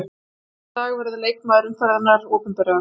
Síðar í dag verður leikmaður umferðarinnar opinberaður.